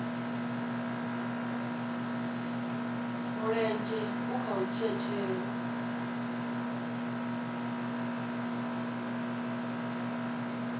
mulenzhe kha u dzhia tsheo